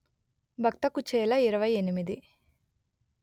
భక్త కుచేల ఇరవై ఎనిమిది